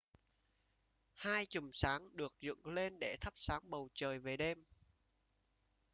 hai chùm sáng được dựng lên để thắp sáng bầu trời về đêm